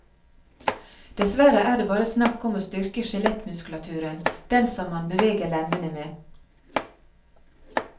Dessverre er det bare snakk om å styrke skjelettmuskulaturen, den som man beveger lemmene med.